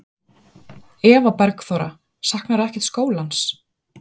Eva Bergþóra: Saknarðu ekkert skólans?